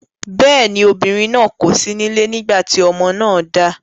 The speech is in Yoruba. Bẹ́ẹ̀ ni, obìnrin náà kò sí nílé nígbà tí ọmọ náà dà.